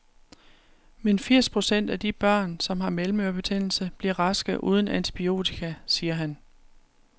Men firs procent af de børn, som har mellemørebetændelse, bliver raske uden antibiotika, siger han.